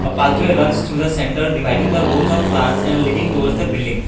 a pathway runs to the center dividing the rows of plants and living towards the building.